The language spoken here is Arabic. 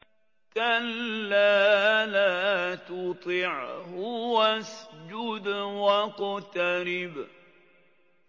كَلَّا لَا تُطِعْهُ وَاسْجُدْ وَاقْتَرِب ۩